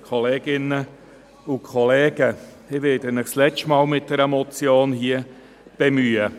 Ich werde Sie zum letzten Mal hier mit einer Motion bemühen.